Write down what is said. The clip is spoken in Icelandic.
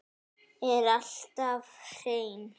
Er alltaf hrein.